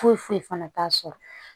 Foyi foyi foyi fana t'a sɔrɔ